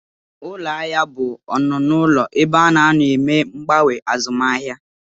Ụlọahịa bụ ọnụụlọ ebe a na-anọ eme mgbanwe azụmahịa